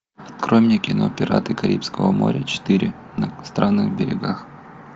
открой мне кино пираты карибского моря четыре на странных берегах